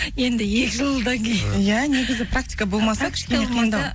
енді екі жылдан кейін иә негізі практика болмаса кішкене қиындау